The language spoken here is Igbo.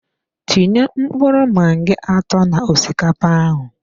Tinye mkpụrụ magi atọ na osikapa ahụ